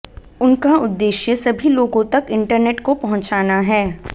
उनका उद्देश्य सभी लोगों तक इंटरनेट को पहुंचाना है